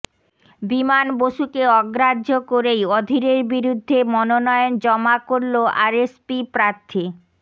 বিমান বসুকে অগ্রাহ্য করেই অধীরের বিরুদ্ধে মনোনয়ন জমা করল আরএসপি প্রার্থী